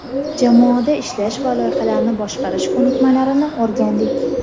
jamoada ishlash va loyihalarni boshqarish ko‘nikmalarini o‘rgandik.